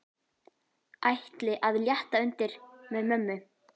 Ætli að létta undir með mömmu.